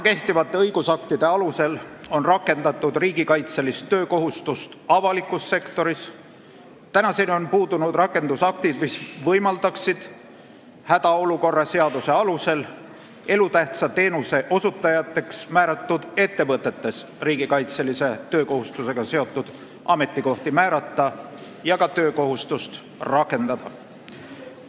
Kehtivate õigusaktide alusel on riigikaitselist töökohustust rakendatud avalikus sektoris, aga tänaseni on puudunud rakendusaktid, mis võimaldaksid hädaolukorra seaduse alusel elutähtsa teenuse osutajateks määratud ettevõtetes riigikaitselise töökohustusega seotud ametikohti määrata ja ka töökohustust rakendada.